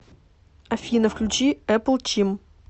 афина включи эпл чим